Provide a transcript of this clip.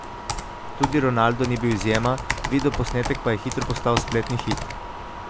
Tudi Ronaldo ni bil izjema, videoposnetek pa je hitro postal spletni hit.